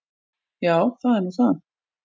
Já, það er nú það.